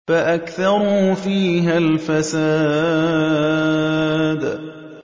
فَأَكْثَرُوا فِيهَا الْفَسَادَ